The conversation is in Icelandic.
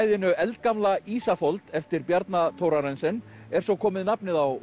kvæðinu eldgamla Ísafold eftir Bjarna Thorarensen er svo komið nafnið á